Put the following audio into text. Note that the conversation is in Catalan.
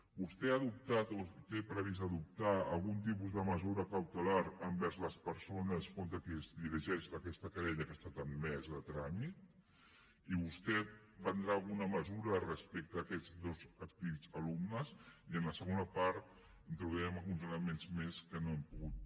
vostè ha adoptat o té previst adoptar algun tipus de mesura cautelar envers les persones contra qui es dirigeix aquesta querella que ha estat admesa a tràmit i vostè prendrà alguna mesura respecte a aquests dos antics alumnes i en la segona part introduirem alguns elements més que no hem pogut